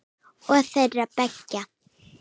Og þeirra beggja.